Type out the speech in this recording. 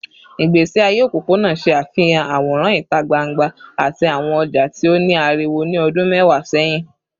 Igbesi aye opopona ṣe afihan aworan ita gbangba ati awọn ọja ti o ni ariwo ni ọdun mẹwa sẹhin